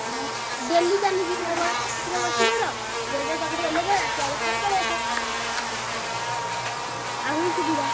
ମୋ daily ଚାଲୁଚି ମୋ bus ରେ ବସିପଡ। ଜୟଦେବ ପାଖରେ ଓଲ୍ହେଇ ପଡ ଆସିଲା ବେଳେ ପୁଣି ପଳେଇଆସ। ଆହୁରି ସୁବିଧା।